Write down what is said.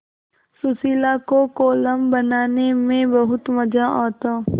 सुशीला को कोलम बनाने में बहुत मज़ा आता